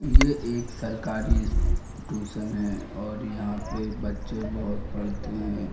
ये एक सरकारी ट्यूशन है और यहाँ पर बच्चे बहुत पढ़ते हैं।